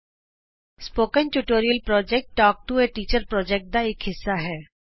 spoken tutorial project talk to a teacher project ਦਾ ਇਕ ਹਿੱਸਾ ਹੈ